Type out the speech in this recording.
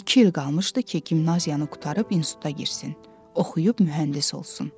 İki il qalmışdı ki, gimnaziyanı qurtarıb instituta girsin, oxuyub mühəndis olsun.